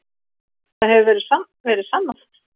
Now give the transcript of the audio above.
Það hefur verið sannað.